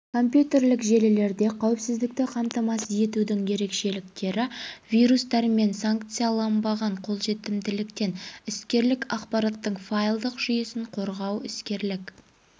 компьютерлік желілерде қаіпсіздікті қамтамасыз етудің ерекшеліктері вирустар мен санкцияланбаған қолжетімділіктен іскерлік ақпараттың файлдық жүйесін қорғау іскерлік